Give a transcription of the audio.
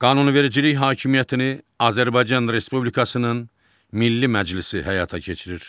Qanunvericilik hakimiyyətini Azərbaycan Respublikasının Milli Məclisi həyata keçirir.